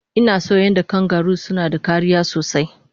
Inason yadda kangaru suke da kariya sosai